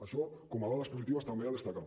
això com a dades positives també a destacar